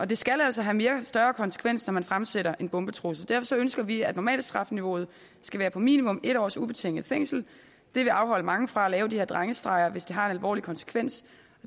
det skal altså have større konsekvenser når man fremsætter en bombetrussel derfor ønsker vi at normalstrafniveauet skal være på minimum en års ubetinget fængsel det vil afholde mange fra at lave de her drengestreger hvis det har en alvorlig konsekvens